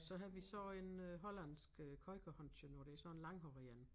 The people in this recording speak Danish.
Så havde vi så en øh hollandsk øh kooikerhondje og det sådan en langhåret én